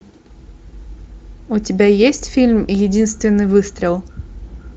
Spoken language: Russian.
у тебя есть фильм единственный выстрел